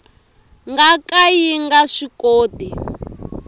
nga ka yi nga swikoti